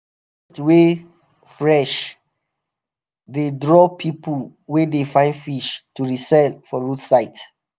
harvest wey fresh dey draw pipo wey um dey find fish to resell for roadside.